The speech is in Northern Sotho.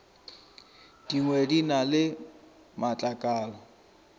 dingwe di na le matlakala